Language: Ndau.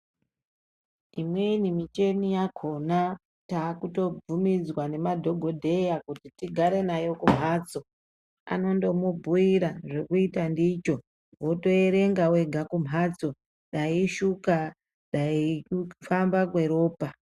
Imweni micheni yakhona taakukutobvumidzwa nemadhogodheya kuti tigare nayo kumphatso. Anotomubhuira zvekuita ndicho, wotoerenga wega kumphatso, dai ishuka ,dai kufamba kweropa.